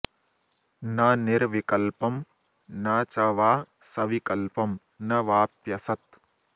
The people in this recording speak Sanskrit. न निर्विकल्पं न च वा सविकल्पं न वाप्यसत्